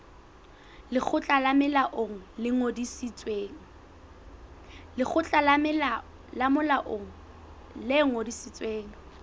lekgotla le molaong le ngodisitsweng